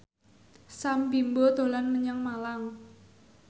Sam Bimbo dolan menyang Malang